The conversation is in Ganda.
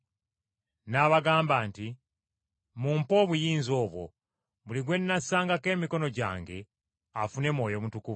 N’abagamba nti, “Mumpe obuyinza obwo, buli gwe nnassangako emikono gyange afune Mwoyo Mutukuvu!”